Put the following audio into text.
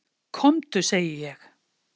KOMDU SEGI ÉG!